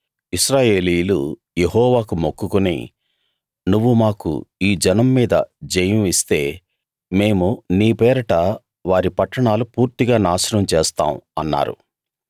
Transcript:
ఇశ్రాయేలీయులు యెహోవాకు మొక్కుకుని నువ్వు మాకు ఈ జనం మీద జయం ఇస్తే మేము నీ పేరట వారి పట్టణాలు పూర్తిగా నాశనం చేస్తాం అన్నారు